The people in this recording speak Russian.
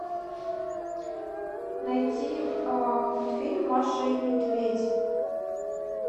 найти мультфильм маша и медведь